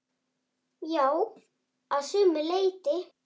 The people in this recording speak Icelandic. Já, að sumu leyti.